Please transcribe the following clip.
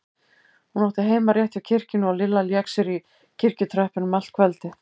Hún átti heima rétt hjá kirkjunni og Lilla lék sér í kirkjutröppunum allt kvöldið.